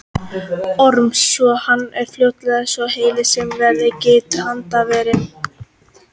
Orms svo hann varð fljótt svo heill sem verið getur handarvani.